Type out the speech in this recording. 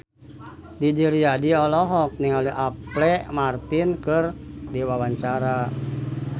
Didi Riyadi olohok ningali Apple Martin keur diwawancara